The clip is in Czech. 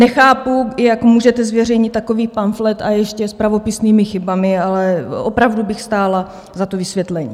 Nechápu, jak můžete zveřejnit takový pamflet, a ještě s pravopisnými chybami, ale opravdu bych stála o to vysvětlení.